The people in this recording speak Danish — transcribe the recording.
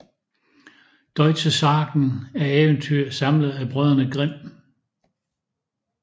Deutsche Sagen er eventyr samlet af Brødrene Grimm